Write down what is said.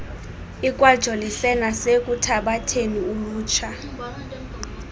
ikwajolise nasekuthabatheni ulutsha